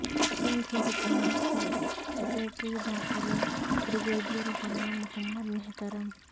سندھ حکومت کے سیکریٹری داخلہ بریگیڈیر غلام محمد محترم